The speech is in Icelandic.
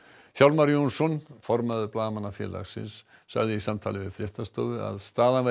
Hjálmar Jónsson formaður Blaðamannafélagsins sagði í samtali við fréttastofu að staðan væri